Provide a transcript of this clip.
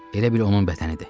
Elə bil onun bədənidir.